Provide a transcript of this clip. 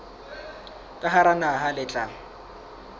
ka hara naha le tla